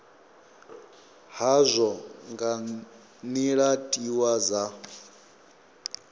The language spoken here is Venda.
hazwo nga nila tiwa dza